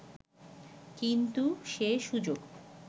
কিন্তু সে সুযোগ